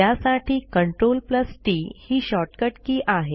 त्यासाठी Ctrl TT ही shortcut key आहे